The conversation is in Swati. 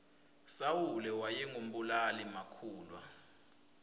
sawule wayengu mbulali makhulwa